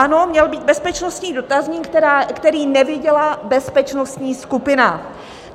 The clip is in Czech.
Ano, měl být bezpečnostní dotazník, který neviděla bezpečnostní skupina.